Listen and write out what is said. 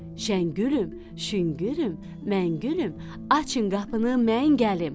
Şəngülüm, şüngülüm, məngülüm, açın qapını, mən gəlim.